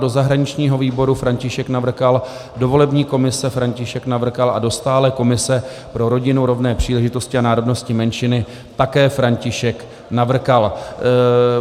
Do zahraničního výboru František Navrkal, do volební komise František Navrkal a do stálé komise pro rodinu, rovné příležitosti a národnostní menšiny také František Navrkal.